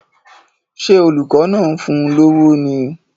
Ṣé olùkọ́ náà ń fún un lówó ni?